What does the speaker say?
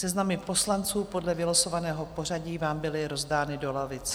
Seznamy poslanců podle vylosovaného pořadí vám byly rozdány do lavic.